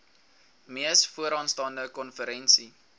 mees vooraanstaande konferensie